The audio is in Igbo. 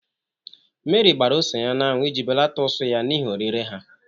Mary gbara ose ya n'anwụ iji belata ụsụ ya n'ihi orire ha.